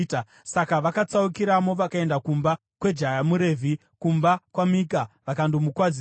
Saka vakatsaukiramo vakaenda kumba kwejaya muRevhi kumba kwaMika vakandomukwazisa.